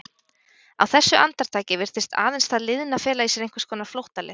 Á þessu andartaki virtist aðeins það liðna fela í sér einhvers konar flóttaleið.